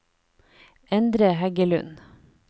Endre Heggelund